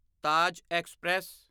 Taj express